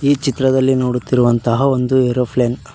ಈ ಚಿತ್ರದಲ್ಲಿ ನೋಡುತ್ತಿರುವಂತಹ ಒಂದು ಏರೋಪ್ಲೇನ್ .